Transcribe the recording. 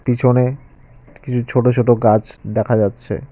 পিছনে কিছু ছোট ছোট গাছ দেখা যাচ্ছে।